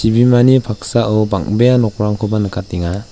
chibimani paksao bang·bea nokrangkoba nikatenga.